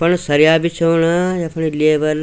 पण सरिया बिछौण यफणी लेबर --